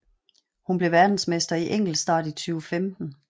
Hun blev verdensmester i enkeltstart i 2015